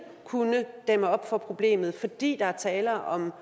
kunne dæmme op for problemet fordi der er tale om